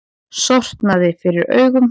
Sortnaði fyrir augum.